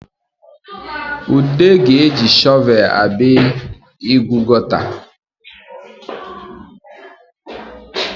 Ude ga-eji shọvel abịa ịgụ gọta